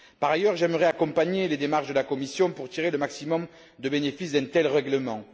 Par ailleurs, j'aimerais accompagner les démarches de la Commission pour tirer le maximum de bénéfices d'un tel règlement.